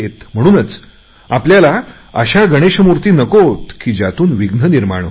म्हणूनच आपल्याला अशा गणेशमूर्ती नकोत की ज्यातून विघ्न निर्माण होईल